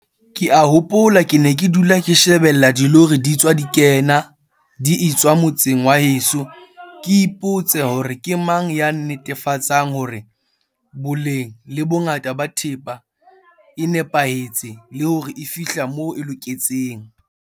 Ke a hopola ke ne ke dula ke shebella dilori di tswa di kena di etswa motseng wa heso ke ipotse hore ke mang ya netefatsang hore boleng le bongata ba thepa e nepahetse le hore e fihla moo e loketseng.